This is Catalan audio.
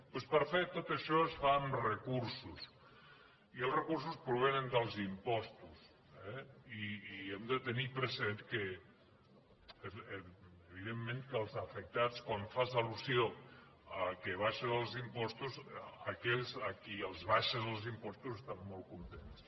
doncs per fer tot això es fa amb recursos i els recursos provenen dels impostos i hem de tenir present que evidentment que els afectats quan fas al·lusió al fet que baixes els impostos aquells a qui els baixes els impostos estan molt contents